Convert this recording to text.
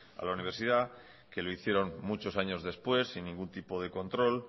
a la universidad que lo hicieron muchos años después sin ningún tipo de control